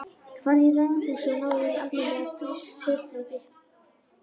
Farðu í ráðhúsið og náðu þér í almennileg skilríki.